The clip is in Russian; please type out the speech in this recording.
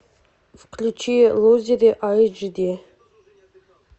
включи лузеры айч ди